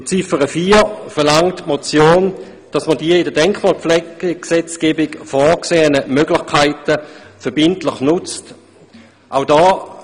In Ziffer 4 verlangt die Motion, die in der Denkmalpflegegesetzgebung vorgesehenen Möglichkeiten müssten verbindlich genutzt werden.